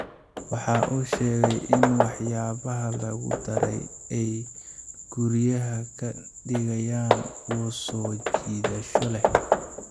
Waxa uu sheegay in waxyaabaha lagu daray ay guryaha ka dhigayaan kuwo soo jiidasho leh.